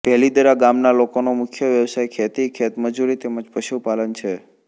ભેલીદરા ગામના લોકોનો મુખ્ય વ્યવસાય ખેતી ખેતમજૂરી તેમ જ પશુપાલન છે